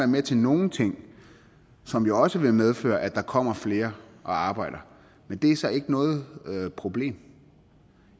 med til nogle ting som jo også vil medføre at der kommer flere og arbejder men det er så ikke noget problem